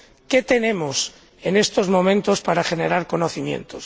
¿Qué tenemos, en estos momentos, para generar conocimientos?